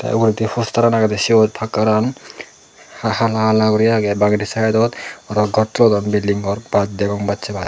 te uguredi poster an agede siyot pakkar an hala hala guri aage bangedi side dot aro ghor tullon building ghor baj degong bache baj.